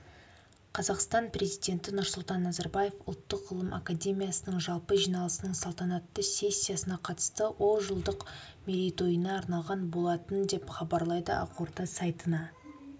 қазақстан президенті нұрсұлтан назарбаев ұлттық ғылым академиясының жалпы жиналысының салтанатты сессиясына қатысты ол жылдық мерейтойына арналған болатын деп хабарлайды ақорда сайтына